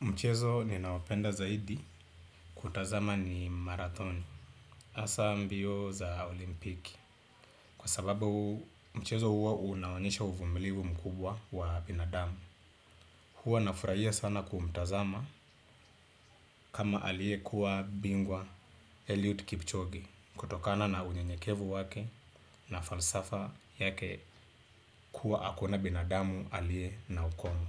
Mchezo ninaopenda zaidi kutazama ni marathoni, hasa mbio za olimpiki. Kwa sababu mchezo huo unaonyesha uvumilivu mkubwa wa binadamu. Huo nafurahia sana kumtazama kama aliyekuwa bingwa Eliud Kipchoge kutokana na unyenyekevu wake na falsafa yake kuwa hakuna binadamu aliye na ukomo.